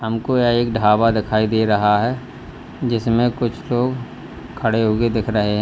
हमको यह एक ढाबा दिखाई दे रहा है जिसमें कुछ लोग खड़े हुए दिख रहे है।